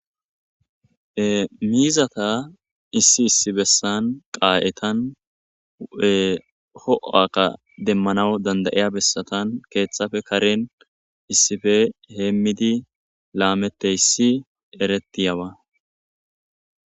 Miizata issi issi bessan qaaretta ho'oowabba demanawu dandayiya bessatan keeththafe karen issife heemmidi laamette issi eretiyabba